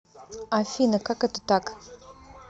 афина как это так